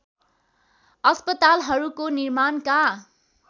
अस्पतालाहरूको निर्माणका